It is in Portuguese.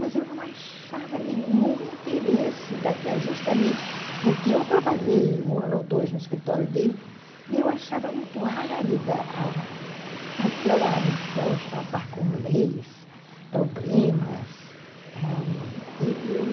Mas eu não achava nenhum interesse, justamente porque eu trabalhei um ano ou dois no escritório dele e eu achava muito árida a aquela missão de tratar com leis, problemas, ãh, eu eu